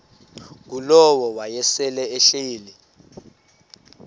ngulowo wayesel ehleli